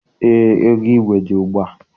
Eé, ego igwe dị ugbua.